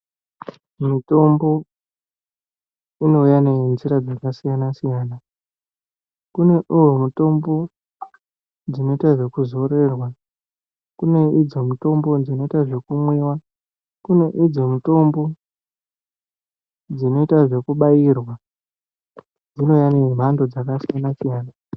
Mitombo inouya nenzira dzakasiyana-siyana. Kune imwe mitombo dzinoite zvekuzorerwa, kune idzo mitombo dzinoite zvekumwiwa, kune idzo mitombo dzinoite zvekubairwa. Dzinouya nemhando dzakasiyana-siyana.